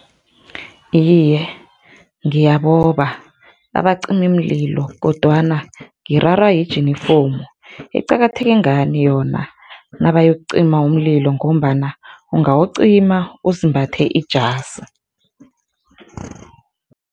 Iye, ngiyaboba abacimimlilo, kodwana ngirarwa yijinifomu, iqakatheke ngani nabayokucima umlilo ngombana ungawucima uzimbathe ijasi?